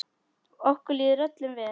Okkur líður öllum vel.